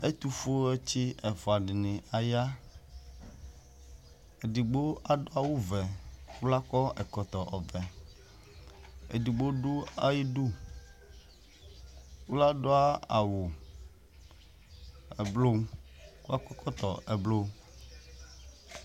ɛtofue tsi ɛfua dini aya edigbo ado awu vɛ ko la kɔ ɛkɔtɔ ɔvɛ edigbo do ayidu ko la do awu ublɔ ko akɔ ɛkɔtɔ ublɔ